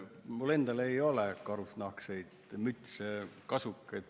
Mul endal ei ole karusnahkseid mütse ja kasukaid.